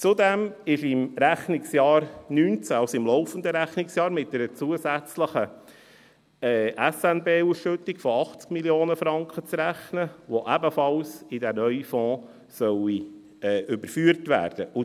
Zudem ist im Rechnungsjahr 2019, also im laufenden Rechnungsjahr, mit einer zusätzlichen SNB-Ausschüttung von 80 Mio. Franken zu rechnen, welche ebenfalls in den neuen Fonds überführt werden soll.